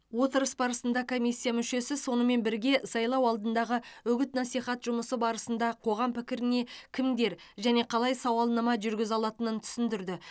отырыс барысында комиссия мүшесі сонымен бірге сайлау алдындағы үгіт насихат жұмысы барысында қоғам пікіріне кімдер және қалай сауалнама жүргізе алатынын түсіндірді